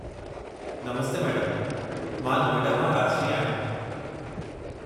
नमस्ते madam, मां नोएडा मां राजश्री आहियां।